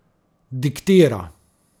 Diktira ...